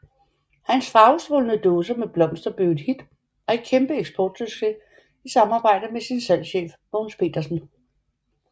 Hans farvestrålende dåser med blomster blev et hit og en kæmpe eksportsucces i samarbejde med sin salgschef Mogens Petersen